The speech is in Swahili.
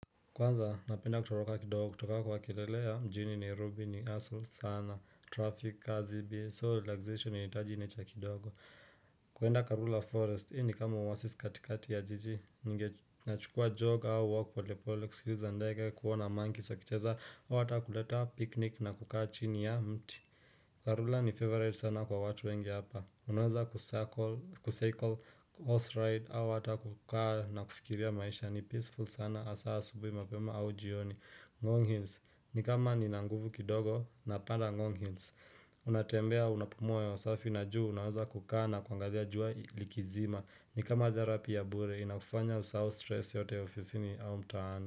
Kwanza napenda kutoroka kidogo kutoka kwa kilele ya mjini nairobi ni husstle sana traffic kazi bie so relaxation inahitaji nature kidogo kuenda karura forest ni kama walk katikati ya jiji ungechukua jog au walk polepole kusikiza ndege kuona monkeys wakicheza au hata kuleta picnic na kukaa chini ya mti Karura ni favorite sana kwa watu wengi hapa Unaweza ku cycle horse ride au hata kukaa na kufikiria maisha ni peaceful sana hasaa asubuhi mapema au jioni Ngong hills na kama nina nguvu kidogo napanda Ngong hills unatembea unapumua hewa safi na juu Unaweza kukaa na kuangazia jua likizima ni kama therapy ya bure Inakufanya usahau stress yote ofisini au mtaana.